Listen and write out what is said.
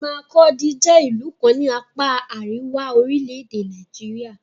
Makurdi jẹ́ ìlú kan ní apá àríwá orílẹ̀-èdè Nàìjíríà.